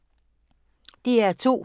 DR2